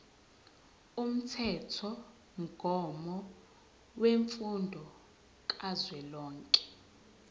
umthethomgomo wemfundo kazwelonke